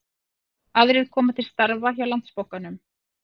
Aðrir koma til starfa hjá Landsbankanum